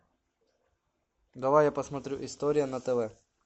давай я посмотрю история на тв